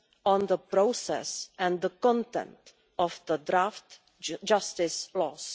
on the process and the content of the draft justice laws.